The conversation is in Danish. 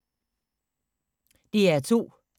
DR2